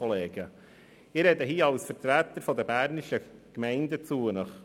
Ich spreche als Vertreter der bernischen Gemeinden zu Ihnen.